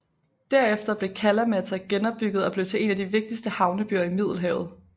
Derefter blev Kalamata genopbygget og blev til en af de vigtigste havnebyer i Middelhavet